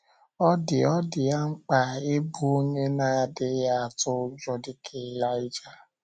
Ọ dị Ọ dị ya mkpa ịbụ onye na - adịghị atụ ụjọ dị ka Ịlaịja.